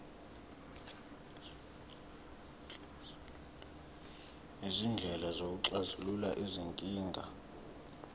izindlela zokuxazulula izinkinga